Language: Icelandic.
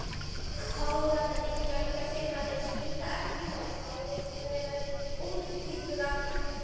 Kóralladýr fjölga sér með því að spýta eggjum og sæðisfrumum út í vatnið umhverfis sig.